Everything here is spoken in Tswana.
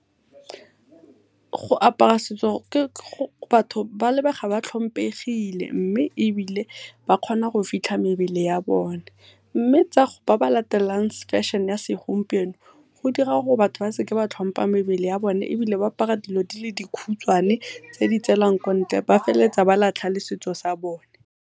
Go apara setso batho ba lebega ba tlhomphegile mme ebile ba kgona go fitlha mebele ya bone. Mme ba ba latelang feshene ya segompieno go dira gore batho ba seke ba tlhompa mebele ya bone ebile ba apara dilo di le dikhutshwane tse di tselang kontle ba feleletsa ba latlha le setso sa bone.